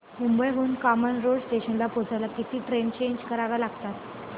मुंबई हून कामन रोड स्टेशनला पोहचायला किती ट्रेन चेंज कराव्या लागतात